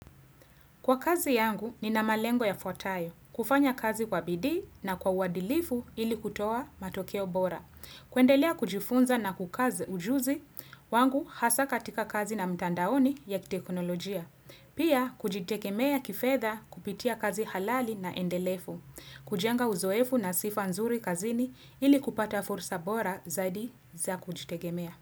Kwa kazi yangu, nina malengo ya fuatayo, kufanya kazi kwa bidii na kwa uwadilifu ili kutoa matokeo bora. Kuendelea kujifunza na kukazi ujuzi, wangu hasa katika kazi na mtandaoni ya teknolojia. Pia, kujitegemea kifedha kupitia kazi halali na endelefu. Kujenga uzoefu na sifanzuri kazini ili kupata fursa bora zaidi za kujitegemea.